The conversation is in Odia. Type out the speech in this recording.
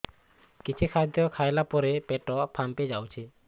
କିଛି ଖାଦ୍ୟ ଖାଇଲା ପରେ ପେଟ ଫାମ୍ପି ଯାଉଛି